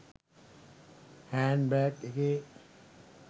hand bag එකේ